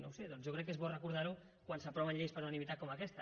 no ho sé doncs jo crec que és bo recordar ho quan s’aproven lleis per unanimitat com aquesta